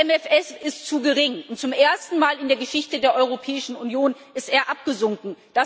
Der MFR ist zu gering, und zum ersten Mal in der Geschichte der Europäischen Union ist er abgesunken.